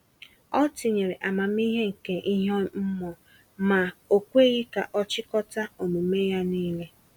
Ọ tinyere amamihe nke ihe mmụọ, ma o kweghị ka ọ chịkọta omume ya niile.